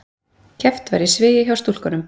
Keppt var í svigi hjá stúlkunum